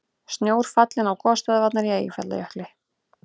Snjór fallinn á gosstöðvarnar í Eyjafjallajökli